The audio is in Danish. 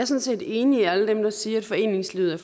set enig med alle dem der siger at foreningslivet er